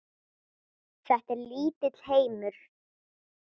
Þetta er lítill heimur.